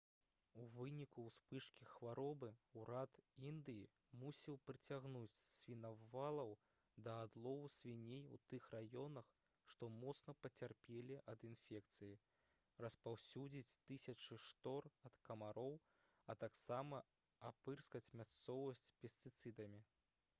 у выніку ўспышкі хваробы ўрад індыі мусіў прыцягнуць свіналоваў да адлову свіней у тых раёнах што моцна пацярпелі ад інфекцыі распаўсюдзіць тысячы штор ад камароў а таксама апырскаць мясцовасць пестыцыдамі